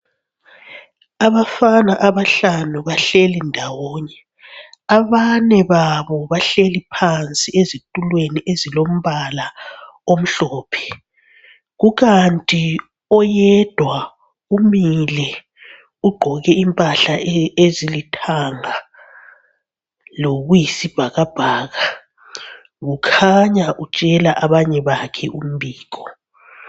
Abafana abahlanu bahleli ndawonye. Abane babo bahleli phansi ezitulweni ezilombala omhlophe. Kukanti oyedwa umile ugqoke impahla ezilithanga lokuyisibhakabhaka. Kukhanya utshela abanye bakhe umbiko.